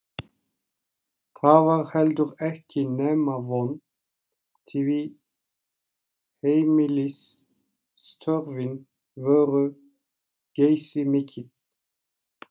Það var heldur ekki nema von, því heimilisstörfin voru geysimikil.